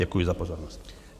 Děkuji za pozornost.